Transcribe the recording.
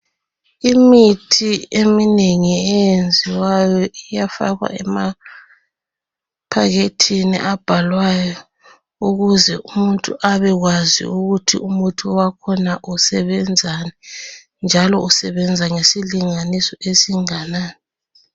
Imithi eminengi enyenziwayo iyafakwa emaphakethini abhalwayo ukuze umuntu abekwazi ukuthi umuthi wakhona usebenzani njalo usebenza ngesilinganiso esinganani.